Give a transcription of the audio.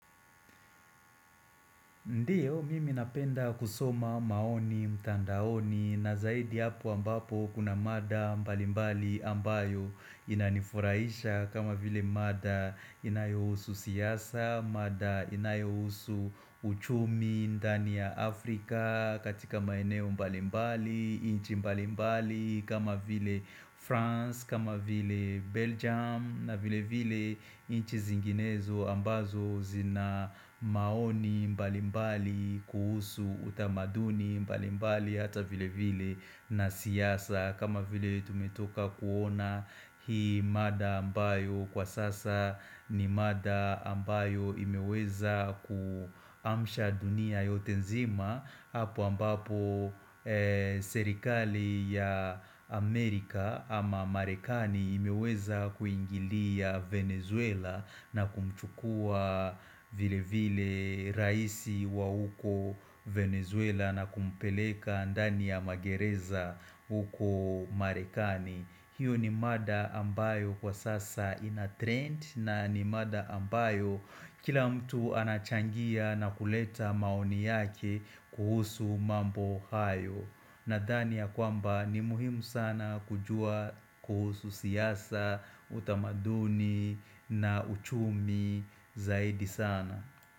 Ndiyo, mimi napenda kusoma maoni mtandaoni, na zaidi hapo ambapo kuna mada mbali mbali ambayo inanifurahisha kama vile mada inayohusu siasa, mada inayohusu uchumi ndani ya Afrika, katika maeneo mbali mbali, inchi mbali mbali kama vile France, kama vile Belgium na vile vile inchi zinginezo ambazo zina maoni mbalimbali kuhusu utamaduni mbalimbali hata vile vile na siasa kama vile tumetoka kuona hii mada ambayo kwa sasa ni mada ambayo imeweza kuamsha dunia yote nzima hapo ambapo serikali ya Amerika ama Marekani imeweza kuingilia Venezuela na kumchukua vile vile raisi wa huko Venezuela na kumpeleka ndani ya magereza huko Marekani. Hiyo ni mada ambayo kwa sasa inatrend na ni mada ambayo kila mtu anachangia na kuleta maoni yake kuhusu mambo hayo. Nadhani ya kwamba ni muhimu sana kujua kuhusu siasa, utamaduni na uchumi zaidi sana.